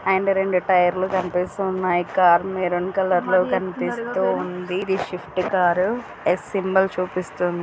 And రెండు tyre లు కనిపిస్తూ ఉన్నాయి. కారు మెరూన్ కలర్ లో కనిపిస్తూ ఉంది. ఇది స్విఫ్ట్ కార్ . ఎస్ సింబల్ చూపిస్తోంది.